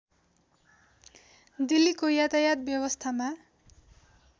दिल्लीको यातायात व्यवसथामा